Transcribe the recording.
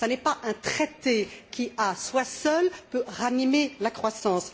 ce n'est pas un traité qui, à lui seul, peut ranimer la croissance.